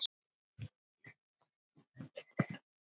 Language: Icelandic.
Eða þorir þú ekki?